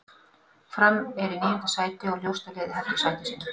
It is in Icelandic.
Fram er í níunda sæti og ljóst að liðið heldur sæti sínu.